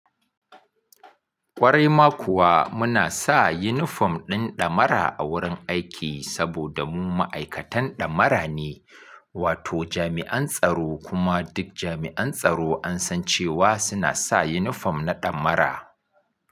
Kwarai ma kuwa muna sa yunifom din ɗamara a wurin aiki saboda mu ma'aikatan ɗamara ne, wato jami'an tsaro kuma duk jami'an tsaro an san cewa suna sa yunifom na ɗamara.